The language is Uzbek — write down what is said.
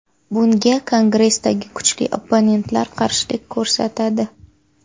Bunga Kongressdagi kuchli opponentlar qarshilik ko‘rsatadi.